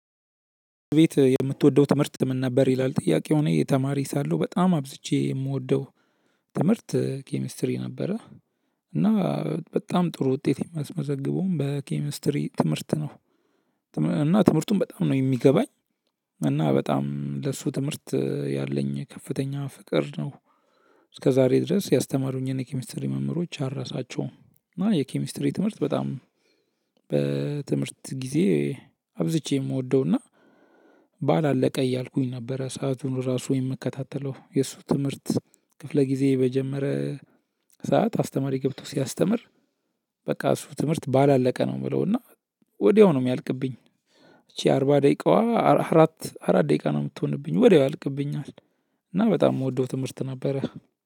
ቤት የምትወደው ትምህርት ምን ነበር ይላል? ጥያቄው እኔ ተማሪ ሳለሁ በጣም አብዝቼ የምወደው ትምህርት ኬሚስትሪ ነበረ። እና በጣም ጥሩ ውጤት የማስመዘግበውም በኬሚስትሪ ትምህርት ነው። እና ትምህርቱን በጣም ነው የሚገባኝ። እና በጣም ለሱ ትምህርት ያለኝ ከፍተኛ ፍቅር ነው። እስከዛሬ ድረስ ያስተማሩኝን የኬሚስትሪ መምህሮች አልረሳቸውም። እና የኬሚስትሪ ትምህርት በጣም በትምህርት ጊዜ አብዝቼ የምወደው እና ባል አለቀ እያልኩኝ ነበረ ሰአቱን ራሱ የምከታተለው የእሱ ትምህርት ክፍለ ጊዜ በጀመረ ሰዓት አስተማሪ ገብቶ ሲያስተምር። በቃ እሱ ትምህርት ባላለቀ ነው እምለው እና ወዲያው ነው እሚያልቅብኝ። ይቺ አርባ ደቂቃዋ አራት አራት ደቂቃ ነው እምትሆንብኝ ወዲያው ያልቅብኛል። እና በጣም እምወደው ትምህርት ነበረ።